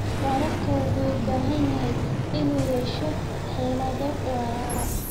Waraabka wuxuu u baahan yahay inuu yeesho xeelado waara.